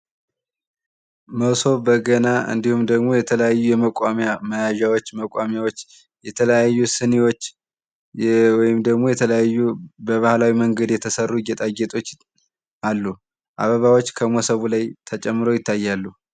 መሶብ በገና እንድሁም ደግሞ የተለያዩ የመቋሚያ መያዣዎች መቋሚያዎች የተለያዩ ሲኒዎች ወይም ደግሞ የተለያዩ በባህላዊ መንገድ የተሰሩ ጌጣጌጦች አሉ። አበባዎች ከመሶቡ ላይ ተጨምረው ይታያሉ።